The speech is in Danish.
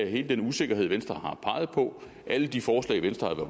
hele den usikkerhed venstre har peget på og alle de forslag venstre har